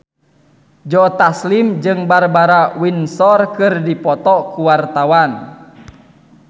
Joe Taslim jeung Barbara Windsor keur dipoto ku wartawan